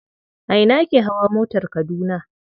A ina ake hawa motar Kaduna.